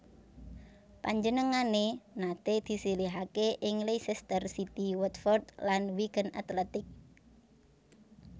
Panjenengané naté disilihaké ing Leicester City Watford lan Wigan Athletic